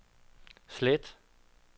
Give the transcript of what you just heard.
slet